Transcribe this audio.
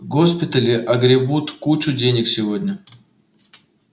госпитали огребут кучу денег сегодня